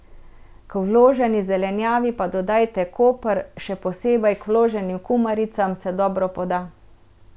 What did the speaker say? K vloženi zelenjavi pa dodajte koper, še posebej k vloženim kumaricam se dobro poda.